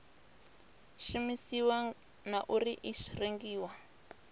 shumisiwa na uri i rengiwa